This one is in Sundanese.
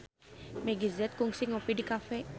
Meggie Z kungsi ngopi di cafe